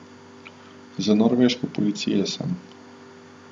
Z norveške policije sem.